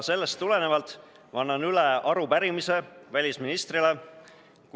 Sellest tulenevalt ma annan üle arupärimise välisministrile.